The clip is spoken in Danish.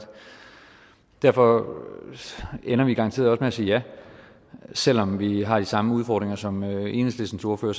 derfor ender vi garanteret at sige ja selv om vi har de samme udfordringer som enhedslistens ordfører